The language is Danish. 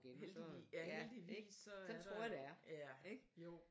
Heldig ja heldigvis så er der ja jo